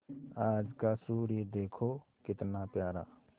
आज का सूर्य देखो कितना प्यारा